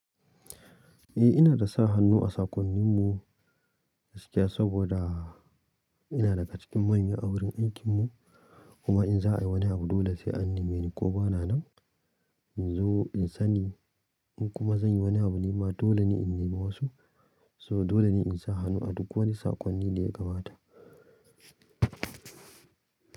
Eh ina da sa hannu a sakonninmu gaskiya saboda ina daga cikin manya a wurin aikinmu kuma in za a yi wani abu dole sai an neme ni ko ba na nan in zo in sani in kuma zan yi wani abu nima dole ne in nema wasu saboda dole ne in sa hanu a duk wani sakonni da ya kamata.